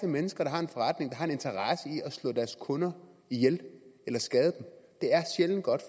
mennesker der har en forretning som har en interesse i at slå deres kunder ihjel eller skade dem det er sjældent godt